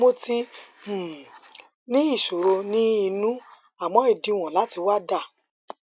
mo ti um ní ìṣòro ní inú àmọ ìdíwọn láti wà dà